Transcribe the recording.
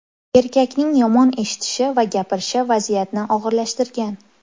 Erkakning yomon eshitishi va gapirishi vaziyatni og‘irlashtirgan.